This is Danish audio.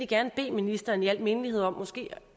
gerne bede ministeren i al mindelighed om